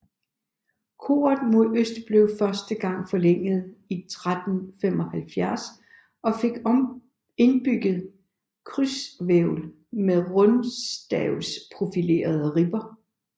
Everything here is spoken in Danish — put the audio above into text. Koret mod øst blev første gang forlænget i 1375 og fik indbygget krydshvælv med rundstavsprofilerede ribber